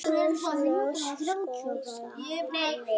Gjóska- laus gosefni